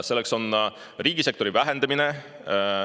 Selleks on ka riigisektori vähendamine.